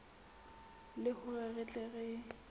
le hore re tle re